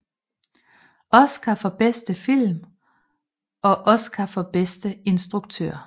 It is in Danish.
Oscar for bedste film og Oscar for bedste instruktør